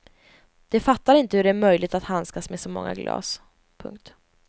De fattar inte hur det är möjligt att handskas med så många glas. punkt